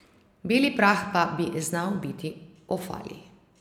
Beli prah pa bi znal biti ofalij.